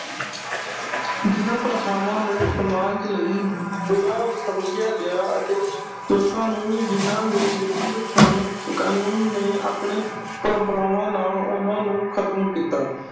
ਜਿਨ੍ਹਾਂ ਪ੍ਰਥਾਵਾਂ ਨੂੰ ਸਮਾਜ ਲਈ ਬੁਰਾ ਸਮਝਿਆ ਗਿਆ ਅਤੇ ਲੋਕਾਂ ਨੂੰ ਜਿਨ੍ਹਾਂ ਦੇ ਵਿਰੁੱਧ ਸਨ। ਕਾਨੂੰਨ ਨੇ ਆਪਣੀਆਂ ਪਰੰਪਰਾਵਾਂ ਨਾਲ ਉਨ੍ਹਾਂ ਨੂੰ ਖਤਮ ਕੀਤਾ।